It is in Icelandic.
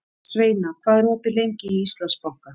Sveina, hvað er opið lengi í Íslandsbanka?